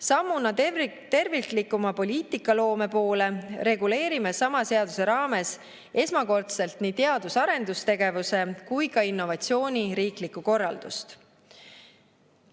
Sammuna terviklikuma poliitikaloome poole reguleerime sama seaduse raames esmakordselt nii teadus‑ ja arendustegevuse kui ka innovatsiooni riiklikku korraldust.